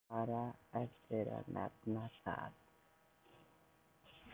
Hann átti bara eftir að nefna það.